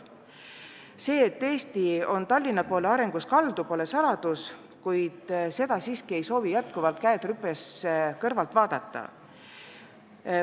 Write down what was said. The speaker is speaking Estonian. See, et Eesti on oma arengus Tallinna poole kaldu, pole saladus, ja seda arengut tõesti ei soovi edaspidi käed rüpes kõrvalt vaadata.